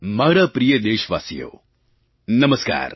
મારા પ્રિય દેશવાસીઓ નમસ્કાર